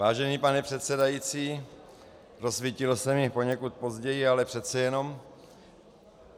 Vážený pane předsedající, rozsvítilo se mi poněkud později, ale přece jenom.